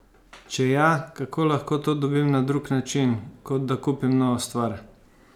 Če ja, kako lahko to dobim na drug način, kot da kupim novo stvar?